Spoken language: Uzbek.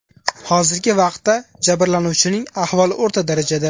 Hozirgi vaqtda jabirlanuvchining ahvoli o‘rta darajada.